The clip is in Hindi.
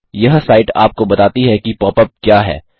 यह साइट आपको बताती है कि pop यूपी क्या है